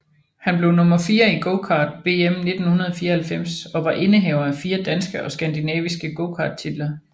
Han blev nummer 4 i gokart VM 1994 og var indehaver af 4 danske og skandinaviske gokarttitler